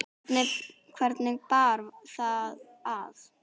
Hvernig bar það að?